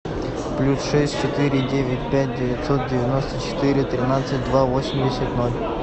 плюс шесть четыре девять пять девятьсот девяносто четыре тринадцать два восемьдесят ноль